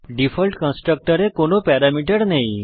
default কনস্ট্রাক্টরে কোন parameter নেই